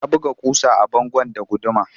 Ya buga ƙusa a bango da guduma